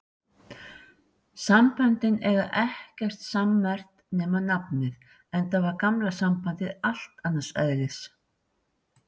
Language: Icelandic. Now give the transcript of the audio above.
Samböndin eiga ekkert sammerkt nema nafnið, enda var gamla sambandið allt annars eðlis.